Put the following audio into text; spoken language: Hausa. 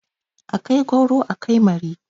A kai gwauro, a kai mari.